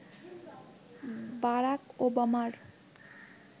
Barack ওবামার